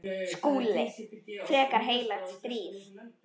SKÚLI: Frekar heilagt stríð!